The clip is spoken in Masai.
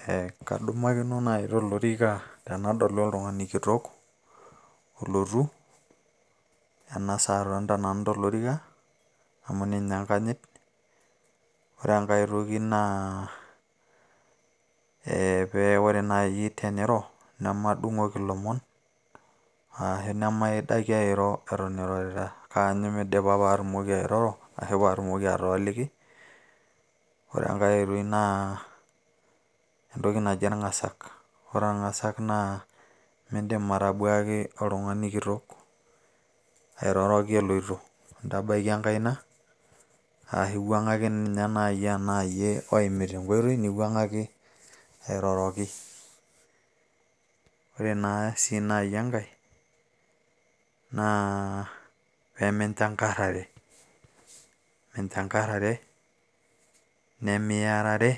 Eeeh kadumakino naaji tolorika, tenadolu oltung`ani kitok olotu ena saa atonita nanu tolorika. Amu ninye enkajit, ore enkae toki naa eeh pee ore nai teniro nemadung`oki ilomon arashu nemaidaki airo irorita kaanyu meidipa pee atumoki airoro ashu pee atumoki atooliki. Ore enkae oitoi naa entoki naji orng`asak, ore orng`asak naa miidim atabuaki oltung`ani kitok airoroki eloito. In`dabaiki enkaina arashu iwuang`aki naaji aa iyie oimita enkoitoi, niwuang`aki airoroki. ore naa sii naaji enkae naa pee minchakarrare, minchankarare nimiyarare